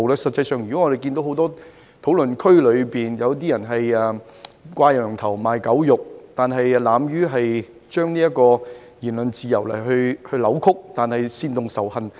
實際上，我們發現很多討論區皆屬"掛羊頭賣狗肉"，扭曲言論自由以煽動仇恨。